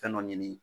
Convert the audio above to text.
Fɛn dɔ ɲini